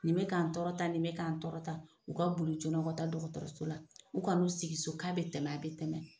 Nin bɛ k'an tɔɔrɔ tan, nin bɛ k'an tɔɔrɔ tan, u ka bolij ka taa dɔgɔtɔrɔso la, u ka n'u sigi so k'a bɛ tɛmɛ a bɛ tɛmɛ.